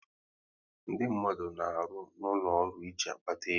Ndị mmadụ na arụ n'ụlọ ọrụ e ji kpata ego